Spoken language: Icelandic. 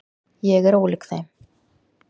Ég er ólík þeim.